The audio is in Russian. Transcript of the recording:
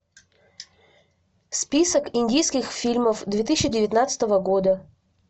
список индийских фильмов две тысячи девятнадцатого года